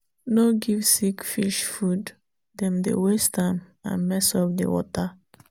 no give sick fish food—dem dey waste am and mess up di water.